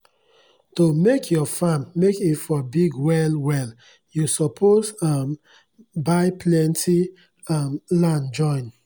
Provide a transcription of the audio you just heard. to make ur farm make e for big well well u suppos um buy plenti um land join